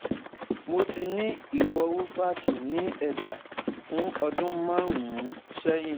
Mo ti ní ìwọ̀wù fátì ní ẹ̀dá fún ọdún márùn-ún sẹ́yìn